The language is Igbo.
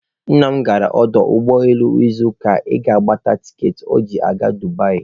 Nna m gara ọdọ ụgbọelu n'izuụka gara aga ịgbata tikeetị ọ ga-eji gaa Dubai.